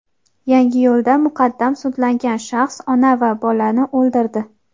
Yangiyo‘lda muqaddam sudlangan shaxs ona va bolani o‘ldirdi.